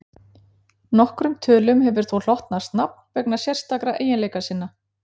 nokkrum tölum hefur þó hlotnast nafn vegna sérstakra eiginleika sinna